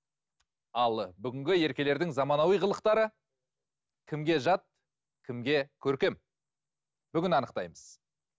ал бүгінгі еркелердің заманауи қылықтары кімге жат кімге көркем бүгін анықтаймыз